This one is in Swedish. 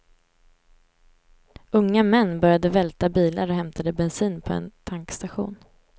Unga män började välta bilar och hämtade bensin på en tankstation.